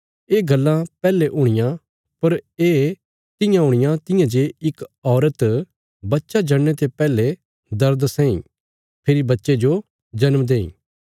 ये गल्लां पैहले हुणियां पर ये तियां हुणियां तियां जे इक औरत बच्चा जणने ते पैहले दर्द सैंई फेरी बच्चे जो जन्म देईं